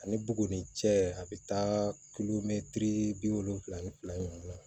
Ani bugu ni cɛ a bɛ taa kilomɛtiri bi wolonwula ni fila ɲɔgɔn dilan